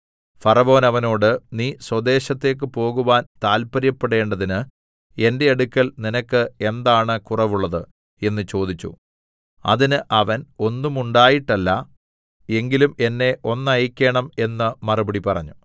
ഫറവോൻ അവനോട് നീ സ്വദേശത്തേക്കു പോകുവാൻ താല്പര്യപ്പെടേണ്ടതിന് എന്റെ അടുക്കൽ നിനക്ക് എന്താണ് കുറവുള്ളത് എന്ന് ചോദിച്ചു അതിന് അവൻ ഒന്നുമുണ്ടായിട്ടല്ല എങ്കിലും എന്നെ ഒന്നയക്കേണം എന്ന് മറുപടി പറഞ്ഞു